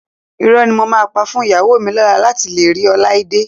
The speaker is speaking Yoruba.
Irọ́ ni mo máa pa fún ìyàwó mi lọ́la láti lè rí Ọláídé